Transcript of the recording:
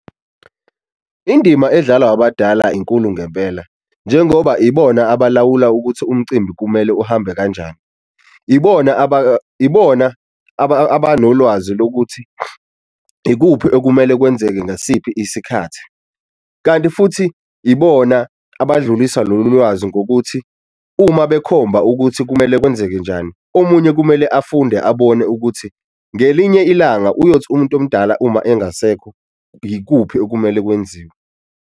Indima edlalwa abadalwa inkulu ngempela njengoba ibona abalawula ukuthi umcimbi kumele uhambe kanjani, ibona ibona abanolwazi lokuthi ikuphi okumele kwenzeke ngasiphi isikhathi. Kanti futhi ibona abadlulisa lolu lwazi ngokuthi uma bekhomba ukuthi kumele kwenzeke njani, omunye kumele afunde abone ukuthi ngelinye ilanga uyothi umuntu omdala uma engasekho yikuphi okumele kwenziwe.